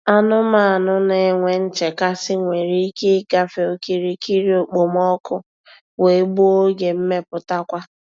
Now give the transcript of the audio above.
Anumanu na-enwe nchekasị nwere ike ịgafe okirikiri okpomọkụ wee gbuo oge mmeputakwa.